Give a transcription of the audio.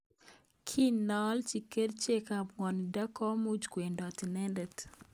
Kinge alji krichek ab ngwonindo komuch kwemndot inendet.